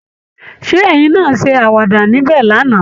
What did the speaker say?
Ṣé ẹ̀yin náa ṣe àwàda níbẹ̀ lánàá?